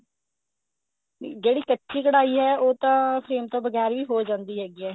ਨਹੀਂ ਜਿਹੜੀ ਕੱਚੀ ਕਢਾਈ ਹੈ ਉਹ ਤਾਂ frame ਤੋਂ ਬਗੈਰ ਵੀ ਹੋ ਜਾਂਦੀ ਹੈਗੀ ਹੈ